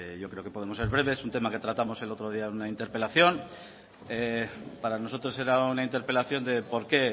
yo creo que podemos ser breves es un tema que tratamos el otro día en una interpelación para nosotros era una interpelación de por qué